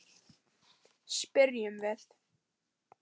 spyrjum við.